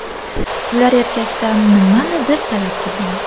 Ular erkakdan nimanidir talab qilgan.